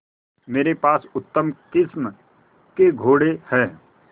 मेरे पास उत्तम किस्म के घोड़े हैं